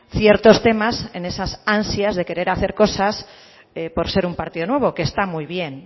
ciertos temas en esas ansias de querer hacer cosas por ser un partido nuevo que está muy bien